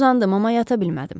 Uzandım, amma yata bilmədim.